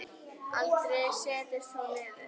Aldrei settist hún niður.